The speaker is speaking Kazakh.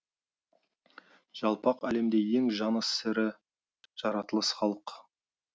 жалпақ әлемде ең жаны сірі жаратылыс халық